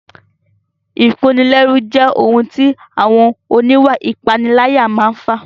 Ìkónilẹ́rú jẹ́ ohun tí àwọn oníwà ìpániláyà máa n fà